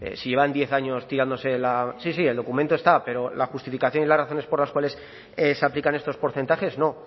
si llevan diez años tirándose la sí sí el documento está pero la justificación y las razones por las cuales se aplican estos porcentajes no